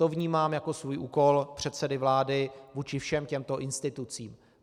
To vnímám jako svůj úkol předsedy vlády vůči všem těmto institucím.